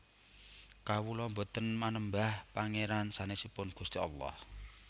Kawula boten manembah Pangeran sanesipun Gusti Allah